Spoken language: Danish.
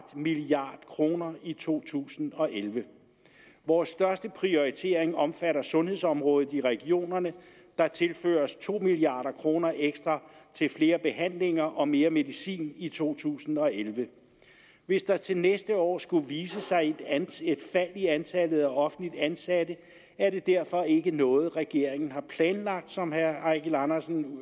milliard kroner i to tusind og elleve vores største prioritering omfatter sundhedsområdet i regionerne der tilføres to milliard kroner ekstra til flere behandlinger og mere medicin i to tusind og elleve hvis der til næste år skulle vise sig et fald i antallet af offentligt ansatte er det derfor ikke noget regeringen har planlagt som herre eigil andersen